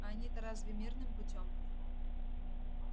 а они-то разве мирным путём